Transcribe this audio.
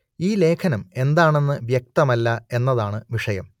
ഈ ലേഖനം എന്താണെന്ന് വ്യക്തമല്ല എന്നതാണ് വിഷയം